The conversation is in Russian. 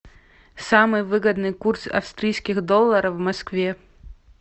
самый выгодный курс австрийских долларов в москве